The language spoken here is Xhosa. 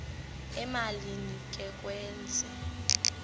emalini ke kwezi